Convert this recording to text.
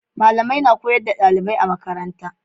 malamai na koyar da dalibai a makaranta